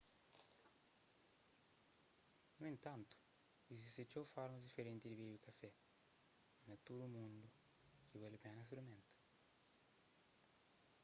nu entantu izisti txeu formas diferenti di bebe kafé na tudu mundu ki bali pena sprimenta